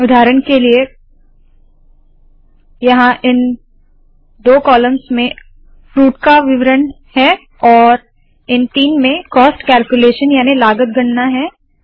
उदाहरण के लिए यहाँ इन दो कॉलम्स में फ्रूट्स को विवरण है और इन तीन में कॉस्ट कैल्क्यूलेशन याने लागत गणना है